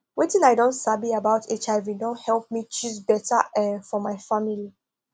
wetin i don sabi about hiv don help me choose better uhm for my family